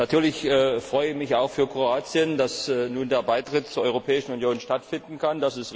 Natürlich freue ich mich auch für Kroatien, dass nun der Beitritt zur Europäischen Union stattfinden kann.